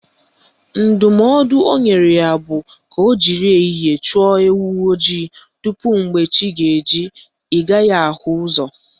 Ndụmọdụ o nyere ya bụ ka o jiri ehihie chụọ ewu ojii tupu mgbe chi ga-eji ị gaghị ahụzi ụzọ